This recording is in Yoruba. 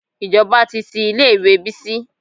Ìjọba ti tí ilé ìwé Bísí.